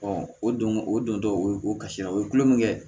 o don o don tɔ o ye o kasira o ye tulo min kɛ